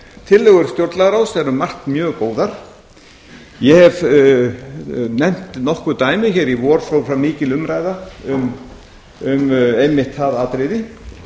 tillögur stjórnlagaráðs eru um margt mjög góðar ég hef nefnt nokkur dæmi í vor fór fram mikil umræða um einmitt það atriði